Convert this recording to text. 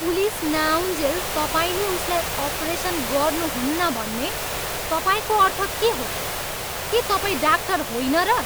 Police नआउन्जेल तपाईँले उसलाई अपरेसन गर्नुहुन्न भन्ने तपाईँको अर्थ के हो? के तपाईँ डाक्टर होइन र?